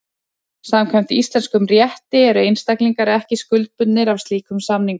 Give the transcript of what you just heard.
Samkvæmt íslenskum rétti eru einstaklingar ekki skuldbundnir af slíkum samningum.